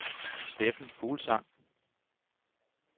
Steffen Fuglsang